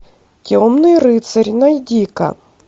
темный рыцарь найди ка